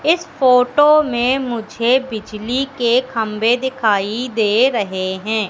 इस फोटो में मुझे बिजली के खंभे दिखाई दे रहे हैं।